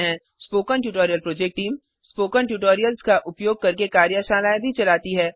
spoken tutorial project team spoken tutorials का उपयोग करके कार्यशालाएँ भी चलाती है